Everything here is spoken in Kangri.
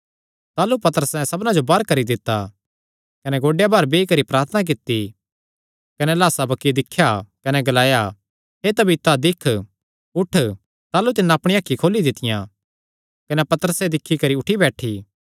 ताह़लू पतरसैं सबना जो बाहर करी दित्ता कने गोड्डेयां भार बेई करी प्रार्थना कित्ती कने लाह्सा बक्खी दिख्या कने ग्लाया हे तबीता दिक्ख उठ ताह़लू तिन्नै अपणिया अखीं खोली दित्तियां कने पतरसे दिक्खी करी उठी बैठी